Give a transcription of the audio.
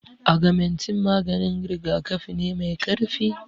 Agamentin maganin rigakafi ne mai karfi